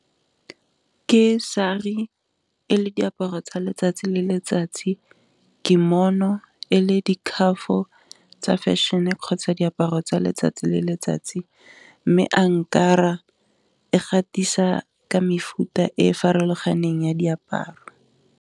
Ke sari e le diaparo tsa letsatsi le letsatsi, di mono e le di curf-o tsa fashion-e kgotsa diaparo tsa letsatsi le letsatsi, mme a nkara e gatisa ka mefuta e farologaneng ya diaparo.